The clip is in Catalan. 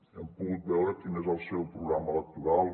hem pogut veure quin és el seu programa electoral